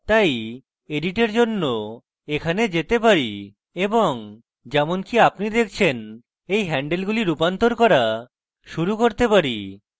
তারপর edit এর জন্য এখানে যেতে পারি এবং যেমনকি আপনি দেখছেন এই হ্যান্ডলগুলি রূপান্তর করা শুরু করতে পারি